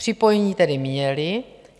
Připojení tedy měli.